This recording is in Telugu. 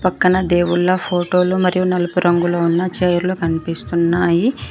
పక్కన దేవుళ్ళ ఫోటో లు మరియు నలుపు రంగులో ఉన్న చైర్లు కనిపిస్తున్నాయి.